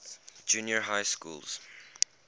junior high schools